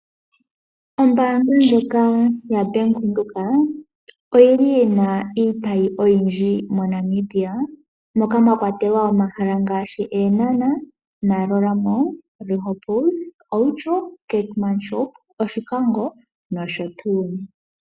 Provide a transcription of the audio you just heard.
Ombaanga ndjika ya Bank Widhoek oyili yina iitayi oyindji mo Namibia. Moka mwa kwatelwa omahala ngaashi Eenhana, Maroela mall, Rehoboth, Outjo, keetmashoop, Oshikango nosho tuu.